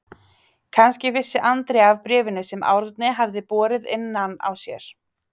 Kannski vissi Andrea af bréfinu sem Árni hafði borið innan á sér.